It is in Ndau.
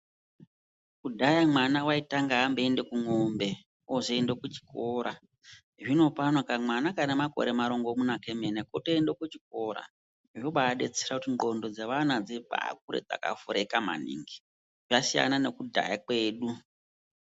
Kudhaya mwana aitanga amboenda kumombe ozoenda kuchikora zvino pano kamwana kanenge Kane makore marongomuna emene kotoenda kuchikora zvobadetsera kuti ngonxo dzevana dzibakure dzakavhurika maningi zvasiyana nekudhaya kwedu.